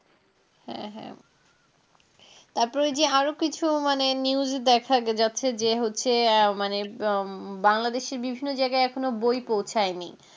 হ্যাঁ হ্যাঁ তারপর যে আরো কিছু মানে news দেখা গেছে যে হচ্ছে মানে উম বাংলাদেশের বিভিন্ন জায়গায় এখনও বই পৌঁছায়নি